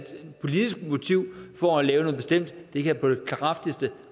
politisk motiv for at lave noget bestemt kan jeg på det kraftigste